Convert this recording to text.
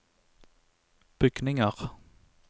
bygninger